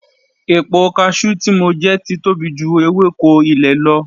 Epo cashew tí mo jẹ ti tóbi ju ewéko ilẹ̀ lọ